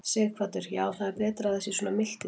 Sighvatur: Já, það er betra að það sé svona milt í dag?